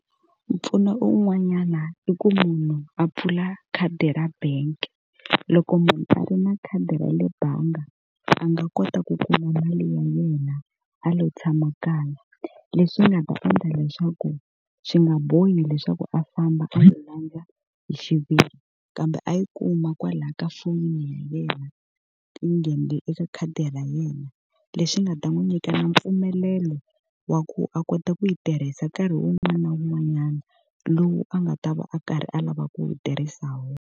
Mpfuno un'wanyana i ku munhu a pfula khadi ra bank-e. Loko munhu a ri na khadi ra le bangi a nga kota ku kuma mali ya yena a lo tshama kaya. Leswi nga ta endla leswaku swi nga bohi leswaku a famba a yi landza hi xiviri, kambe a yi kuma kwala ka foni ya yena yi nghenele eka khadi ra yena. Lexi nga ta n'wi nyika na mpfumelelo wa ku a kota ku yi tirhisa nkarhi wun'wana na wun'wanyana lowu a nga ta va a karhi a lava ku yi tirhisa hi wona.